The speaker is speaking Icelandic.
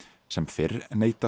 sem fyrr neita